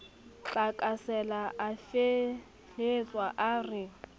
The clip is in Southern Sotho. tlakasela a fehelwa a re